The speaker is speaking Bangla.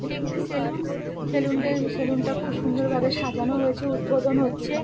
এটি একটি সেলুন সেলুন -টা সেলুন -টা খুব সুন্দর ভাবে সাজানো হয়েছে উদ্বোধন হচ্ছে-এ।